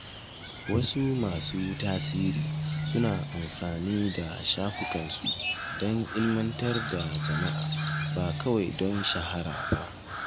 Wasu masu tasiri suna amfani da shafukansu don ilmantar da jama’a, ba kawai don shahara ba.